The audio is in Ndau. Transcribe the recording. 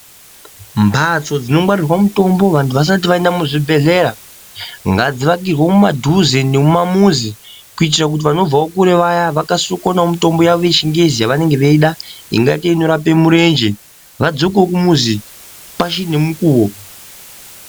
Mhatso dzinongwarirwa mitombo vasati vaenda kuzvibhendleya ngadziakirwa mudhuze nemumamuzi. Kuitira kuti vanobva wo kure vaya vakasire kuwana mitombo yavo yechingezi yavanenge veida. Ingaita inorapa murenje vadzokewo kumuzi pachiri ngemukuwo.